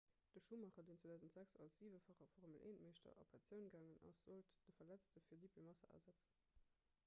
de schumacher deen 2006 als siwefache formel-1-meeschter a pensioun gaangen ass sollt de verletzte felipe massa ersetzen